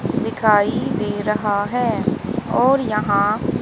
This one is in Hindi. दिखाई दे रहा है और यहां --